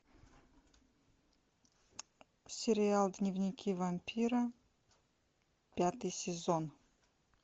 сериал дневники вампира пятый сезон